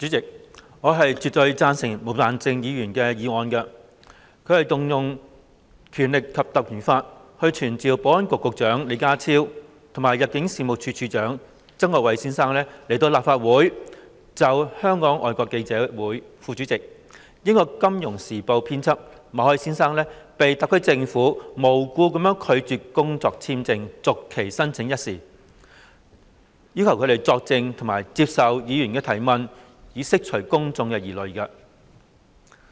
主席，我絕對贊成毛孟靜議員的議案，引用《立法會條例》傳召保安局局長李家超及入境事務處處長曾國衞到立法會席前，就香港外國記者會副主席、英國《金融時報》編輯馬凱先生被特區政府無故拒絕工作簽證續期申請一事作證，並接受議員提問，以釋公眾疑慮。